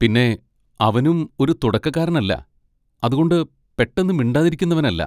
പിന്നെ അവനും ഒരു തുടക്കക്കാരൻ അല്ല, അതുകൊണ്ട് പെട്ടെന്ന് മിണ്ടാതിരിക്കുന്നവനല്ല.